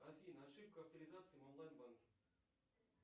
афина ошибка авторизации в онлайн банке